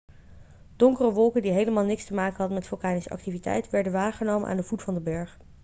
donkere wolken die helemaal niks te maken hadden met vulkanische activiteit werden waargenomen aan de voet van de berg